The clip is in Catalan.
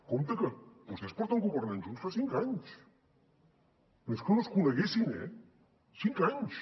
compte que vostès porten governant junts fa cinc anys no és que no es coneguessin eh cinc anys